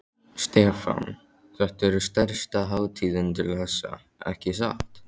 Stefán: Þetta er stærsta hátíðin til þessa, ekki satt?